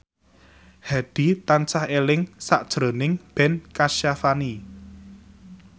Hadi tansah eling sakjroning Ben Kasyafani